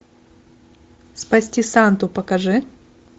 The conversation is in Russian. спасти санту покажи